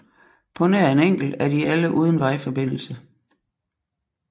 På nær en enkelt er de alle uden vejforbindelse